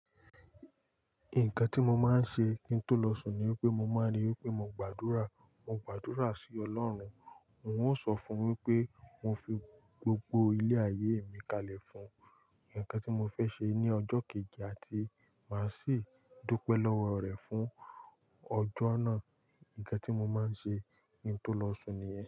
Nǹkan tí mo máa ń ṣe kí n tó lọ sùn ni wipé mo máa rí wipé mo gbàdúrà, mo gbàdúrà sí ọlọ́run. N o sọ fún wípé mo fi gbogbo ilé ayé mi kalẹ̀ fún un. Nǹkan tí mo fẹ́ ṣe ní ọjọ́ kejì àti máa sì dúpẹ́ lọ́wọ́ rẹ̀ fún ọjọ́ náà. Nǹkan tí mo máa ń ṣe kí n tó lọ sùn nìyen.